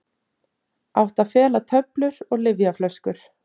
Átti að fela töflur og lyfjaflöskur